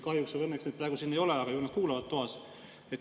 Kahjuks või õnneks neid praegu siin ei ole, aga ju nad kuulavad toas.